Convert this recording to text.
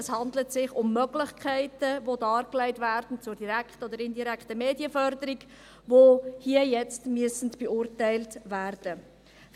es handelt sich um Möglichkeiten, die dargelegt werden, zur direkten oder indirekten Medienförderung, die hier und jetzt beurteilt werden müssen.